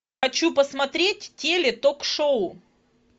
хочу посмотреть теле ток шоу